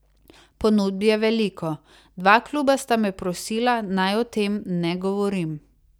Ponudb je veliko, dva kluba sta me prosila, naj o tem ne govorim.